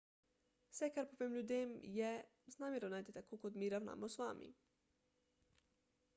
vse kar povem ljudem je z nami ravnajte tako kot mi ravnamo z vami